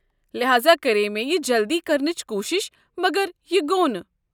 لہذا کرییہِ مےٚ یہِ جلدِی کرنٕچ کوٗشِش مگر یہِ گوٚو نہٕ۔